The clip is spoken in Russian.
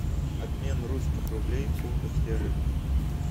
обмен русских рублей в фунтах стерлингах